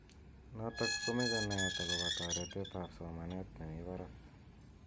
Notok komeche naet akobo toretet ab somanet nemi barak.